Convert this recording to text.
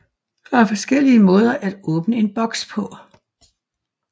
Der er flere forskellige måder at åbne en boks på